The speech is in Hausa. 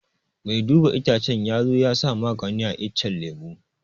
Mai duba itacce ya zo ya sa magani a iccen lemu